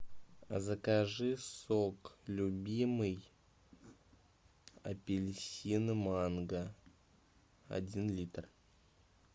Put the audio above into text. закажи сок любимый апельсин манго один литр